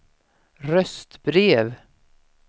röstbrev